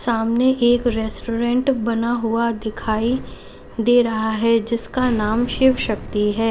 सामने एक रेस्टोरेंट बना हुआ दिखाई दे रहा है जिसका नाम शिव शक्ति है।